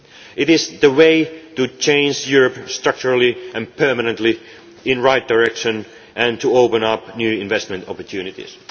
plan. It is the way to change Europe structurally and permanently in the right direction and to open up new investment opportunities.